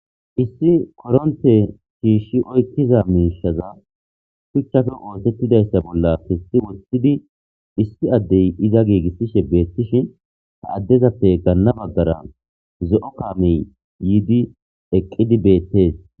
Issi koronte shiish oykiza miishazi shuchappe othetidaysa bolla kesi wothidi issi Adey iza giigisishe betishn , ha adezappe gana bagara zo'o kaameyi yiidi eqid beetesi.